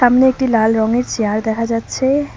অন্য একটি লাল রঙের চেয়ার দেখা যাচ্ছে।